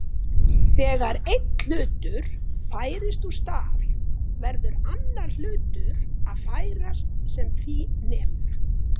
Þegar einn hlutur færist úr stað verður annar hlutur að færast sem því nemur.